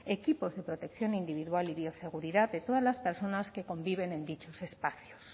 equipos de protección individual y bioseguridad de todas las personas que conviven en dichos espacios